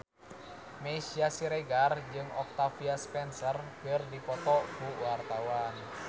Meisya Siregar jeung Octavia Spencer keur dipoto ku wartawan